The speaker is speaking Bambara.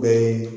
Bɛɛ ye